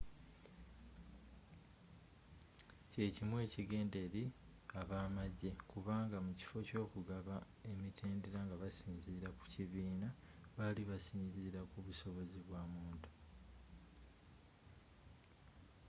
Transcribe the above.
kyekimu ekigenda eri ab'amajje kubanga mukiffo ky'ogugaba emitendera nga basinziira ku kibiina bali basinziira kubusobozi bwamuntu